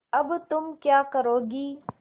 अब तुम क्या करोगी